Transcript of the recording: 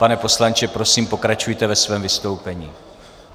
Pane poslanče, prosím, pokračujte ve svém vystoupení.